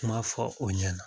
I m'a fɔ o ɲɛna